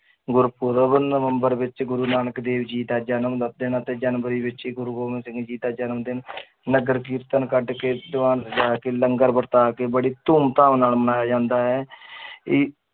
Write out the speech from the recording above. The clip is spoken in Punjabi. ਗੁਰੂਪੁਰਬ ਨਵੰਬਰ ਵਿੱਚ ਗੁਰੂ ਨਾਨਕ ਦੇਵ ਜੀ ਦਾ ਜਨਮ ਦਾ ਦਿਨ ਅਤੇ ਜਨਵਰੀ ਵਿੱਚ ਹੀ ਗੁਰੂ ਗੋਬਿੰਦ ਸਿੰਘ ਜੀ ਦਾ ਜਨਮ ਦਿਨ ਨਗਰ ਕੀਰਤਨ ਕੱਢ ਕੇ ਦੀਵਾਨ ਸਜਾ ਕੇ ਲੰਗਰ ਵਰਤਾ ਕੇ ਬੜੀ ਧੂਮ ਧਾਮ ਨਾਲ ਮਨਾਇਆ ਜਾਂਦਾ ਹੈ ਇਹ